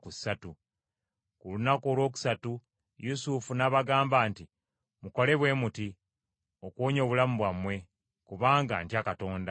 Ku lunaku olwokusatu Yusufu n’abagamba nti, “Mukole bwe muti okuwonya obulamu bwammwe, kubanga ntya Katonda;